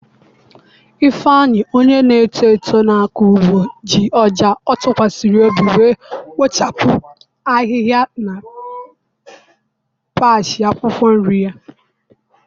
ifeanyi, onye na-eto eto na-akọ ugbo, ji ọja ọ tụkwasịrị obi wee kpochapụ ahihia na patch akwụkwọ nri ya.